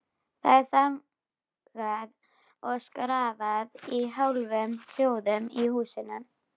Það er þagað og skrafað í hálfum hljóðum í húsunum.